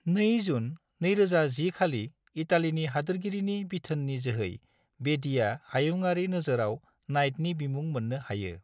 2 जून 2010 खालि इटालिनि हादोरगिरिनि बिथोननि जोहै बेदीआ हायुङारि नोजोरआव नाइटनि बिमुं मोननो हायो।